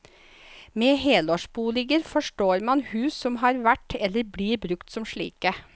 Med helårsboliger forstår man hus som har vært, eller blir brukt som slike.